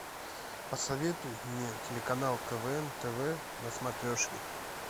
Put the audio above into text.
посоветуй мне телеканал квн тв на смотрешке